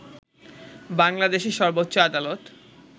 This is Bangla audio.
বাংলাদেশের সর্বোচ্চ আদালত